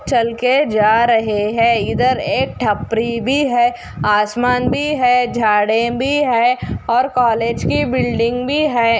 चल के जा रहे है इधर एक ठप्री भी है आसमान भी है झाड़े भी है और कॉलेज की बिल्डिंग भी है।